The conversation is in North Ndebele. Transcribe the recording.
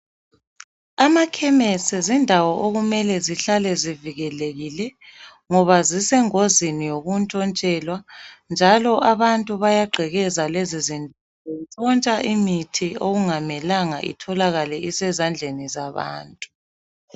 Amakhemesi zindawo okumele zihlale zivikelekile ngoba zisengozini yokutshontshelwa njalo abantu baya gqekeza lezi zindawo betshontsha imithi okungamelanga itholakale isezandleni zabantu.